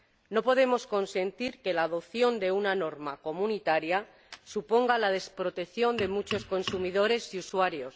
No podemos consentir que la adopción de una norma comunitaria suponga la desprotección de muchos consumidores y usuarios.